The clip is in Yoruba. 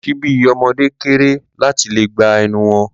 Ṣíbí ọmọde kéré láti lè gba ẹnu wọn.